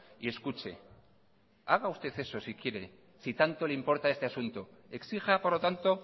y escuche haga usted caso si quiere si tanto le importa este asunto exija por lo tanto